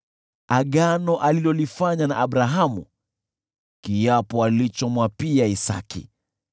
agano alilolifanya na Abrahamu, kiapo alichomwapia Isaki.